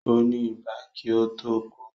Ó ní ibà kí ó tó kú